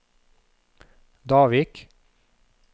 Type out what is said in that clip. Davik